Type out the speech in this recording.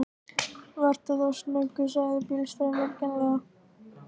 Vertu þá snöggur, sagði bílstjórinn vingjarnlega.